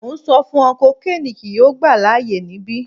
Mo n sọ fun ọ kokiini kii yoo gba laaye nibi